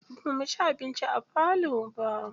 Ba muci abinci a falo ba.